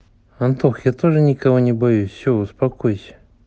антох я тоже никого не боюсь все успокойся